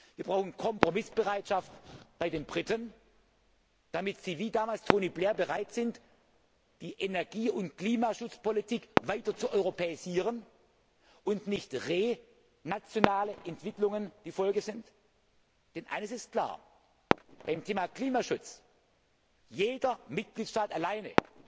Wir brauchen Kompromissbereitschaft bei den Briten, damit sie, wie damals Tony Blair, bereit sind, die Energie und Klimaschutzpolitik weiter zu europäisieren und nicht re nationale Entwicklungen die Folge sind. Denn eines ist klar Beim Thema Klimaschutz ist jeder Mitgliedstaat alleine